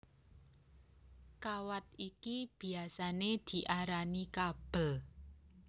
Kawat iki biyasané diarani kabel